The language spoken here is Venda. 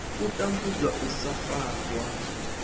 u tambudzwa u sa farwa